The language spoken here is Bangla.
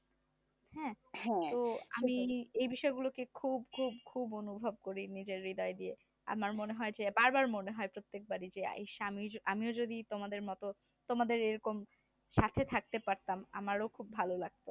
আমি এই বিষয়গুলোকে খুব খুব খুব অনুভব করি নিজের হৃদয় দিয়ে আমার মনে হয় যে বারবার মনে হয় প্রত্যেকবারই যে আইস আমিও যদি তোমাদের মতো তোমাদের এইরকম সাথে থাকতে পারতাম আরও খুব ভালো লাগত